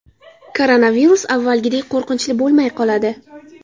Koronavirus avvalgidek qo‘rqinchli bo‘lmay qoladi.